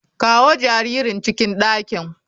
Kawo jaririn cikin dakin.